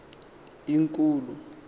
inkulu